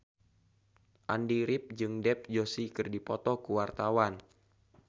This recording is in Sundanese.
Andy rif jeung Dev Joshi keur dipoto ku wartawan